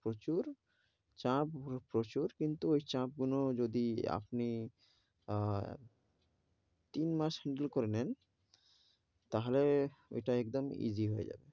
প্রচুর, চাপ প্রচুর কিন্তু ওই চাপগুলো যদি আপনি আহ তিন মাস handle করে নেন, তাহলে ওইটা একদম easy হয়ে যাবে,